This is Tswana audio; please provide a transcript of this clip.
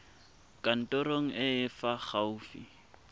kantorong e e fa gaufi